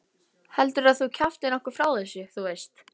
Heldurðu að þú kjaftir nokkuð frá þessu. þú veist?